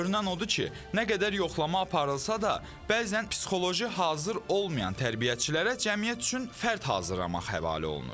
Görünən odur ki, nə qədər yoxlama aparılsa da, bəzən psixoloji hazır olmayan tərbiyəçilərə cəmiyyət üçün fərd hazırlamaq həvalə olunur.